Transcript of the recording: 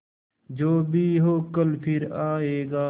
जो भी हो कल फिर आएगा